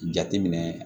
Jateminɛ